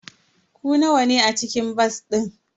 Ku nawa ne a cikin bas din?